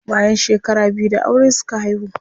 Bayan shekara biyu da aure suka haihu.